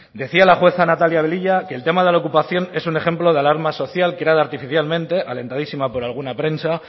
decía la jueza natalia velilla que el tema de la ocupación es un ejemplo de alarma social creada artificialmente alentadísima por alguna prensa